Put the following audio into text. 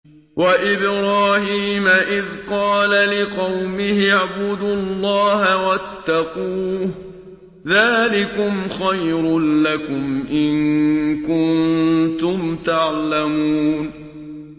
وَإِبْرَاهِيمَ إِذْ قَالَ لِقَوْمِهِ اعْبُدُوا اللَّهَ وَاتَّقُوهُ ۖ ذَٰلِكُمْ خَيْرٌ لَّكُمْ إِن كُنتُمْ تَعْلَمُونَ